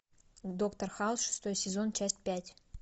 доктор хаус шестой сезон часть пять